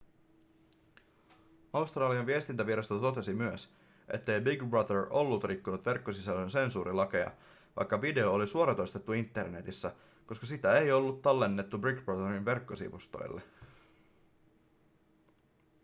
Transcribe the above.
australian viestintävirasto totesi myös ettei big brother ollut rikkonut verkkosisällön sensuurilakeja vaikka video oli suoratoistettu internetissä koska sitä ei ollut tallennettu big brotherin verkkosivustolle